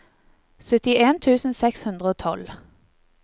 syttien tusen seks hundre og tolv